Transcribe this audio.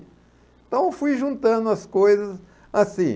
Então, fui juntando as coisas assim.